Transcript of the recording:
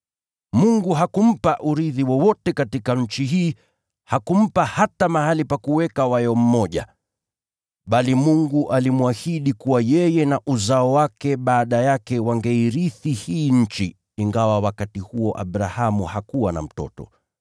Mungu hakumpa urithi wowote katika nchi hii, hakumpa hata mahali pa kuweka wayo mmoja. Bali Mungu alimwahidi kuwa yeye na uzao wake baada yake wangeirithi hii nchi, ingawa wakati huo Abrahamu hakuwa na mtoto.